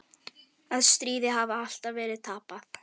Að stríðið hafi alltaf verið tapað.